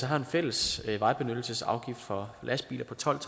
har en fælles vejbenyttelsesafgift for lastbiler på tolv